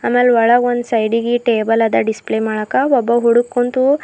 ಆಮೇಲ್ ಒಳಗೆ ಒಂದ್ ಸೈಡಿಗೆ ಟೇಬಲ್ ಅದ ಸೈಡಿಗಿ ಡಿಸ್ಪ್ಲೇ ಮಾಡಕ್ಕ ಒಬ್ಬ ಹುಡುಗ್ ಕುಂತು--